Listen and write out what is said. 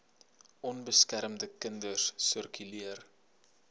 onbeskermde kinders sirkuleer